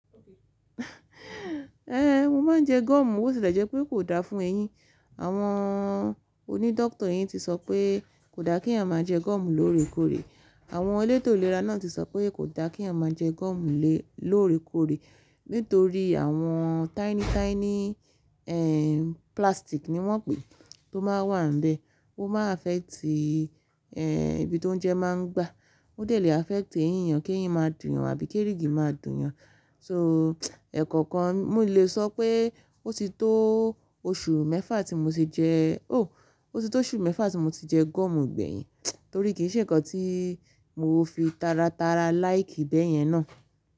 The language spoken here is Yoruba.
Mo máa ń jẹ gọ́mù, bó ti lè jẹ pé kò da fún eyín. Àwọn onídọ́kítọ̀ eyín ti sọ pé kò da kí èyàn máa jẹ gọ́mù lóore kóre. Àwọn elétò ìlera náà ti sọ pé kò da kí a máa jẹ gọ́mù lóore kóre nítorí àwọn tiny tiny, plastic ni wọ́n pè é tó máa wà níbẹ̀, ó máa affect, ibi tó oujẹ máa ń gba. Ó dẹ̀ lè affect eyín yàn kí eyín máa dùn yan àbí kí èrìgì máa dùn yàn. So ẹ̀kọ̀kan n lè sọ pé ó ti tó oṣù mẹ́fà tí mo ti jẹ, ó ti tó oṣù mẹ́fà tí mo ti jẹ gọ́mù gbẹ̀yìn torí kì í ṣe nǹkan tí mo fi taratara like bẹ̀yẹn náà.